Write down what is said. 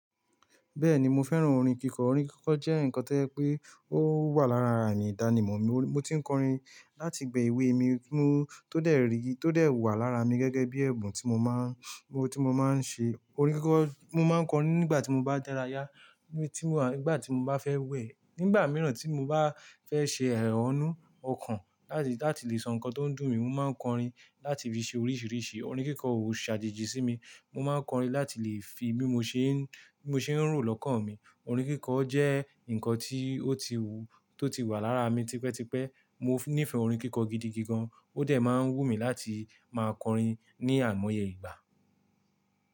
Bẹ́ẹ̀ni mo fẹ́ràn orin kíkọ. Orin kíkọ jẹ́ nǹkan tó yẹ pé ó wà lára àmì ìdánimọ̀ mi. Mo ti ń kọrin láti ìgbà èwe mi mú tó dé èrí, tó dé wà lára mi gẹ́gẹ́ bí ẹ̀bùn tí mo máa ń, tí mo máa ń ṣe orin kíkọ. Mo máa ń kọrin nígbà tí mo bá dára yá, nígbà tí mo bá fẹ́ wẹ̀, nígbà mìíràn tí mo bá fẹ́ ṣe ẹ han nú ọkàn láti, láti lè sọ nǹkan tó ń dùn mí. Mo máa ń kọrin láti fi ṣe oríṣìíríṣìí, orin kíkọ ò ṣàjèjì sí mi. Mo máa ń kọrin láti lè fi bí mo ṣe ń, bí mo ṣe ń rò lọ́kàn mi. Orin kíkọ jẹ́ nǹkan tí ó ti wù, tó ti wà lára mi tipẹ́tipẹ́. Mo nífẹ̀ẹ́ orin kíkọ gidi gan-an. Ó dẹ̀ máa ń wù mí láti máa kọrin ní àìmọye ìgbà.